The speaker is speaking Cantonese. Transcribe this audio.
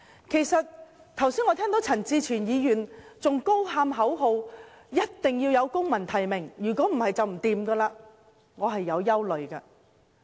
我剛才聽到陳志全議員仍在高喊口號：一定要有公民提名，否則便不行，我對此感到很憂慮。